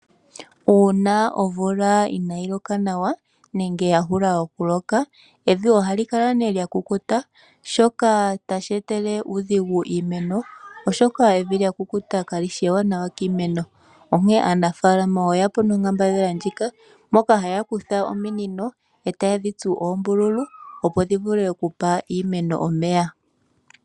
Uuna omvula ina yi loka nawa nenge ya hula okuloka, evi ohali kala nee lyakukuta, shoka tashi etele uudhigu iimeno, oshoka evi lyakukuta kali shi eewanawa kiimeno, onkee aanafaalama oye ya po nonkambadhala ndjika, mpoka ha ya kutha ominino eta ye dhi tsu oombululu opo dhi vule okupa iimeno omeya.